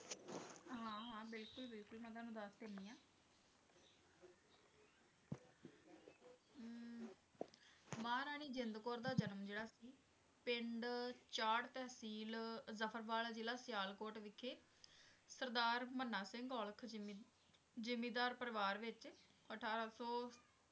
ਮਹਾਰਾਣੀ ਜਿੰਦ ਕੌਰ ਜਨਮ ਜਿਹੜਾ ਸੀ ਪਿੰਡ ਚਾੜ੍ਹ, ਤਹਿਸੀਲ ਜਫਰਵਾਲ, ਜ਼ਿਲ੍ਹਾ ਸਿਆਲਕੋਟ ਵਿਖੇ ਸਰਦਾਰ ਮਨਾ ਸਿੰਘ ਔਲਖ਼ ਜ਼ਿੰਮੀ~ ਜ਼ਿੰਮੀਦਾਰ ਪਰਿਵਾਰ ਵਿੱਚ ਅਠਾਰਾਂ ਸੌ